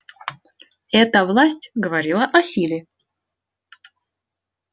эта власть говорила о силе